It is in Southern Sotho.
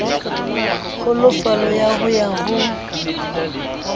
kgolofalo ya ho ya ho